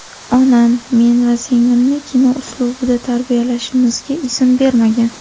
Onam men va singlimni kino uslubida tarbiyalanishimizga izn bermagan.